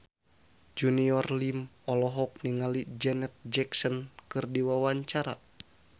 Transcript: Junior Liem olohok ningali Janet Jackson keur diwawancara